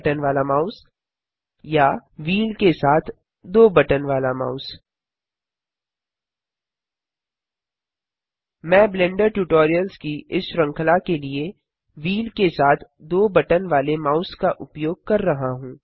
3 button वाला mouse या wheel के साथ 2 बटन वाला माउस मैं ब्लेंडर ट्यूटोरियल्स की इस श्रृंखला के लिए व्हील के साथ 2 बटन वाले माउस का उपयोग कर रहा हूँ